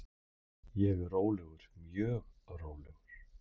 Ég er rólegur, mjög rólegur.